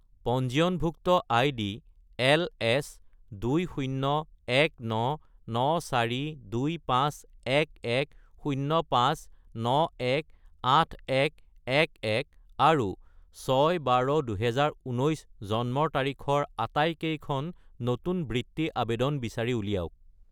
পঞ্জীয়নভুক্ত ID LS201994251105918111 আৰু 6-12-2019 জন্মৰ তাৰিখৰ আটাইকেইখন নতুন বৃত্তি আবেদন বিচাৰি উলিয়াওক